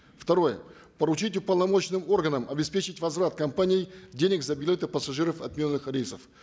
второе поручить уполномоченным органам обеспечить возврат компанией денег за билеты пассажиров отмененных рейсов